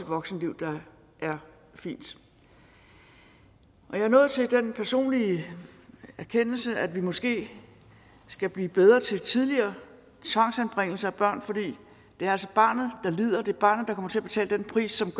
voksenliv der er fint jeg er nået til den personlige erkendelse at vi måske skal blive bedre til tidligere tvangsanbringelse af børn for det er altså barnet der lider det er barnet der kommer til at betale den pris som